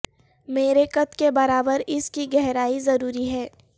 میرے قد کے برابر اس کی گہرائی ضروری ہے